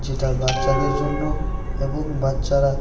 যেটা বাচ্চাদের জন্য এবং বাচ্চারা--